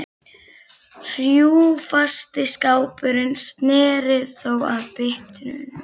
Hrjúfasti skrápurinn sneri þó að byttunum.